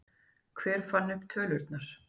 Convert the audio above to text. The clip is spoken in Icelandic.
Hver fann upp tölurnar?